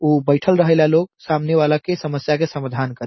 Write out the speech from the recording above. उ बैठएल रहेला लोग सामने वाला के समस्या के समाधान करे --